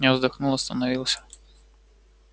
я вздохнул остановился